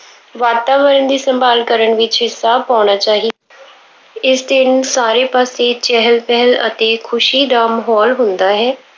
ਵਾਤਾਵਰਣ ਦੀ ਸੰਭਾਲ ਕਰਨ ਵਿੱਚ ਹਿੱਸਾ ਪਾਉਣਾ ਚਾਹੀ ਇਸ ਦਿਨ ਸਾਰੇ ਪਾਸੇ ਚਹਿਲ-ਪਹਿਲ ਅਤੇ ਖੁਸ਼ੀ ਦਾ ਮਾਹੌਲ ਹੁੰਦਾ ਹੈ।